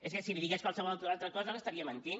és que si li digués qualsevol altra cosa li estaria mentint